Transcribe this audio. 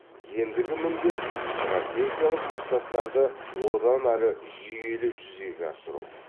ендігі міндет стратегиялық мақсаттарды одан ары жүйелі жүзеге асыру